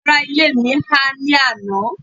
àwọn ará ilé mi ha ni àná